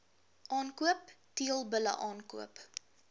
aankoop teelbulle aankoop